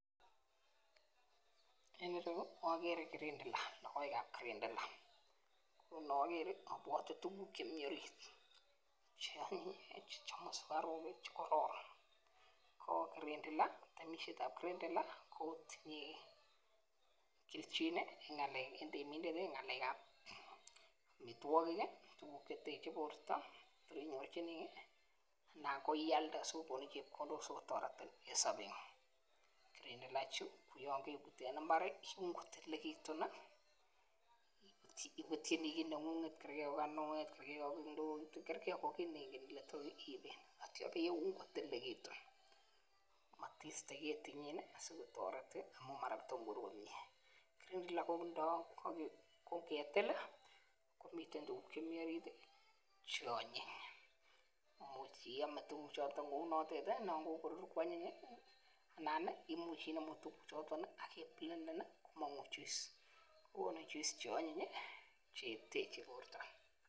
En ireyu ikere kirindila lokoekab kirindila ko mokere ibwote tukuk chemiten orit che onyon chechomu sukaruk chekororon ko kirindila temishetab kirindila kotinye keljin en ngelek en temindet tii ngelekan omitwokik tukuk cheteche borto inyorchinigee anan ko ialde sikokoni chepkondok sikotoretin en sobengug kirindila chuu koyon kebut en imbar iun kotililekitun nii ,iputyinii kit nengunget kergee ko ka kinwet, kergee ko kondoit kergee ko kit nengen ile tor iben ak ityo ibeun kotililekitun motiste ketinyin nii asikotoret tii amun mara tomo korur komie. Kirindila ko kuldo ko ngetil komiten tukuk chemii orit tii cheonyiny imuch iome tukuk chotet lkou notet tii non kokorur kwanyiny anan nii imuch inemu tukuchotet ak iplenden nii komongu juice konu juice che onyinyi cheteche borto.